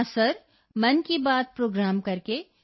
ਹੁਣ ਇਹ ਬਹੁਤ ਹਰਮਨਪਿਆਰਾ ਹੋ ਗਿਆ ਹੈ so now it's very popular